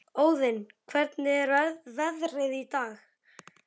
Óðinn, hvernig er veðrið í dag?